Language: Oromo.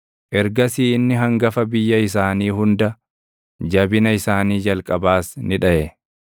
Ergasii inni hangafa biyya isaanii hunda, jabina isaanii jalqabaas ni dhaʼe.